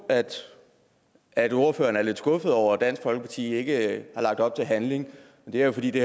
at ordføreren er lidt skuffet over at dansk folkeparti ikke har lagt op til handling det er jo fordi det